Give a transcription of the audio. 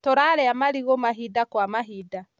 Tũrarĩa marigũ mahinda kwa mahinda